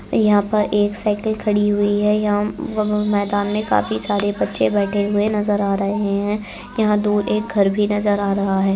यहाँ पर एक साइकिल खड़ी हुई है। यहाँ मैदान में काफी सारे बच्चे बैठे नज़र आ रहे है यहाँ दो एक घर भी नज़र आ रहा है।